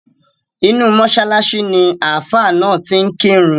Inú mọ́ṣáláṣí ni Ààfá náà ti ń kírun.